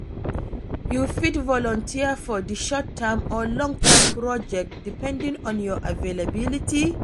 You fit volunteer for di short-term or long-term project, depending on your availability.